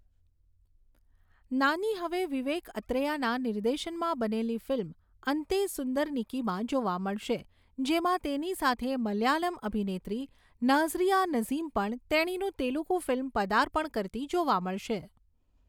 નાની હવે વિવેક અત્રેયાના નિર્દેશનમાં બનેલી ફિલ્મ 'અન્તે સુંદરનિકી'માં જોવા મળશે, જેમાં તેની સાથે મલયાલમ અભિનેત્રી નાઝરિયા નઝીમ પણ તેણીનું તેલુગુ ફિલ્મ પદાર્પણ કરતી જોવા મળશે.